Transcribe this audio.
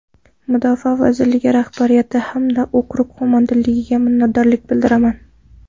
Mudofaa vazirligi rahbariyati hamda okrug qo‘mondonligiga minnatdorlik bildiraman.